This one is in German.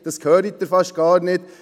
Das hören Sie fast gar nicht.